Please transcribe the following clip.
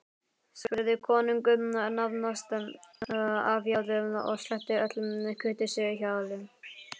spurði konungur nánast áfjáður og sleppti öllu kurteisishjali.